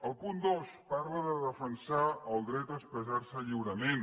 el punt dos parla de defensar el dret a expressar se lliurement